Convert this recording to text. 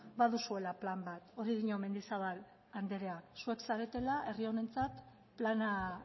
baduzuela plan bat hori dio mendizabal andereak zuek zaretela herri honentzat plana